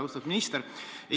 Austatud minister!